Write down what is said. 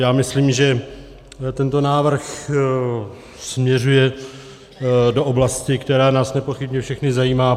Já myslím, že tento návrh směřuje do oblasti, která nás nepochybně všechny zajímá.